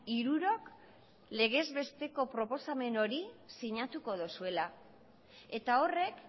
hirurok legez besteko proposamen hori sinatuko duzuela eta horrek